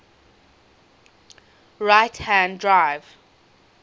right hand drive